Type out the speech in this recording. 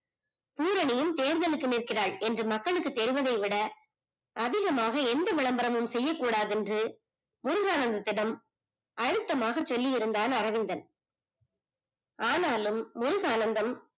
புரணியும் தேர்தலுக்கு நிற்கிறாய் என்று மக்களுக்கு தெரிவதை விட அதிலுமாக எந்த விளம்பரமும் செய்ய கூடாது என்று முருகானந்திடம் அழுத்தமாக சொல்லி இருந்தான் அரவிந்தன் ஆனாலும் முருகானந்தம்